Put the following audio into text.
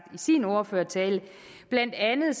sin ordførertale blandt andet